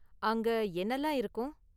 அங்க என்னலாம் இருக்கும்?